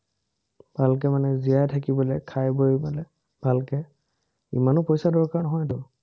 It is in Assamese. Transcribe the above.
ভালকে মানে জীয়াই থাকিবলে, খাই-বই মানে ভালকে ইমানো পইচাৰ দৰকাৰ নহয়তো।